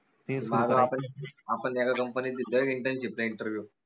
आपन एका company दिलाय internship चा interview